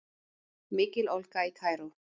Mikil ólga í Kaíró